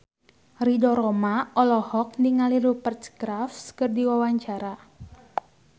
Ridho Roma olohok ningali Rupert Graves keur diwawancara